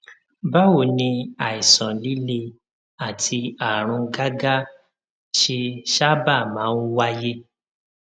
báwo ni àìsàn líle àti àrùn gágá ṣe sábà máa ń wáyé